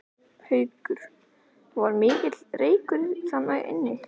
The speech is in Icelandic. Haukur: Var mikill reykur inn til þín?